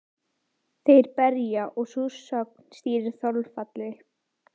Þeir berja og sú sögn stýrir þolfalli.